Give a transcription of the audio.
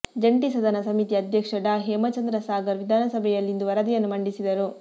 ಜಂಟಿ ಸದನ ಸಮಿತಿಯ ಅಧ್ಯಕ್ಷ ಡಾ ಹೇಮಚಂದ್ರ ಸಾಗರ್ ವಿಧಾನಸಭೆಯಲ್ಲಿಂದು ವರದಿಯನ್ನು ಮಂಡಿಸಿದರು